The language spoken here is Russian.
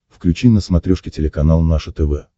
включи на смотрешке телеканал наше тв